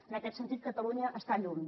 en aquest sentit catalunya està lluny